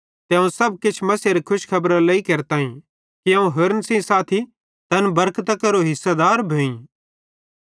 ते अवं सब किछ मसीहेरे खुशखेबरारे लेइ केरताईं कि अवं होरन सेइं साथी तैन बरकतां केरो हिसेदार भोईं